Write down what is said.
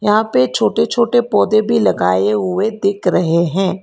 यहां पे छोटे छोटे पौधे भी लगाए हुए दिख रहे हैं।